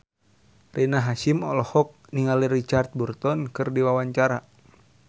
Rina Hasyim olohok ningali Richard Burton keur diwawancara